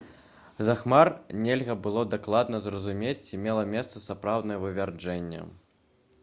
з-за хмар нельга было дакладна зразумець ці мела месца сапраўднае вывяржэнне